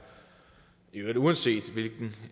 uanset hvilken